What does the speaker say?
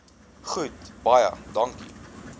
goed baie dankie